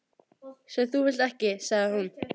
. sem þú vilt ekki, sagði hún.